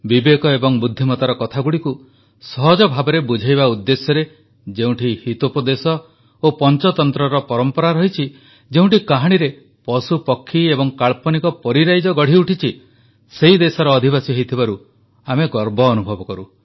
ବିବେକ ଏବଂ ବୁଦ୍ଧିମତାର କଥାଗୁଡ଼ିକୁ ସହଜ ଭାବରେ ବୁଝାଇବା ଉଦ୍ଦେଶ୍ୟରେ ଯେଉଁଠି ହିତୋପଦେଶ ଓ ପଂଚତନ୍ତ୍ରର ପରମ୍ପରା ରହିଛି ଯେଉଁଠି କାହାଣୀରେ ପଶୁପକ୍ଷୀ ଏବଂ କାଳ୍ପନିକ ପରୀରାଇଜ ଗଢ଼ିଉଠିଛି ସେହି ଦେଶର ଅଧିବାସୀ ହୋଇଥିବାରୁ ଆମେ ଗର୍ବ ଅନୁଭବ କରୁ